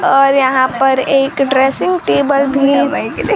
और यहां पर एक ड्रेसिंग टेबल भी--